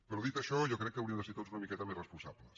però dit això jo crec que hauríem de ser tots una miqueta més responsables